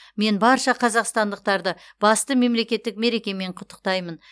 мен барша қазақстандықтарды басты мемлекеттік мерекемен құттықтаймын